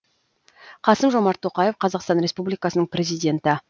қасым жомарт тоқаев қазақстан республикасының президенті